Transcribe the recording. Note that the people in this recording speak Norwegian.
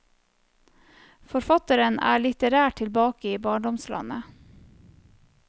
Forfatteren er litterært tilbake i barndomslandet.